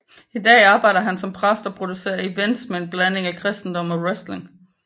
I dag arbejder han som præst og producerer events med en blanding af kristendom og wrestling